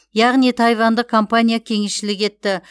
яғни тайвандық компания кеңесшілік етті